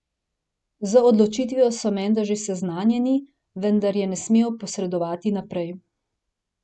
Z odločitvijo so menda že seznanjeni, vendar je ne smejo posredovati naprej.